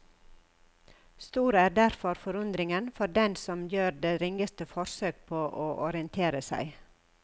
Stor er derfor forundringen for den som gjør det ringeste forsøk på å orientere seg.